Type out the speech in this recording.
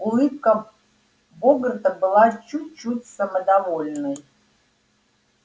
улыбка богарта была чуть-чуть самодовольной